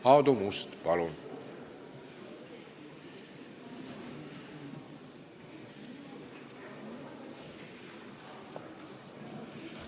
Aadu Must, palun!